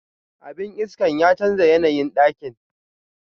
Abin iskan ya chanza yanayin dakin.